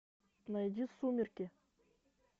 найди сумерки